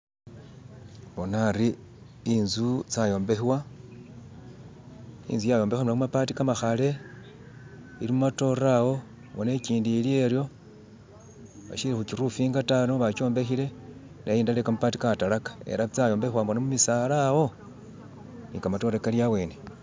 Bona hari intsu tsyayobekhewa inzu yayobekhewa ne mumabaati kamakhale ili mu matore awo, bona ikindi iliyo iryo basyili khu kiroofinga ta niyo bajombekhile ne indala yekamabaati katalaka ela tsyombekhewa bona mumisaala, wo ni kamatore kali awene.